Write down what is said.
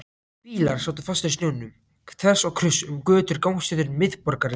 Bílar sátu fastir í snjónum þvers og kruss um götur og gangstéttir miðborgarinnar.